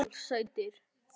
Þeir urðu óðamála og æstir.